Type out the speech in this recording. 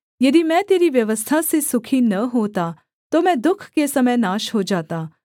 यदि मैं तेरी व्यवस्था से सुखी न होता तो मैं दुःख के समय नाश हो जाता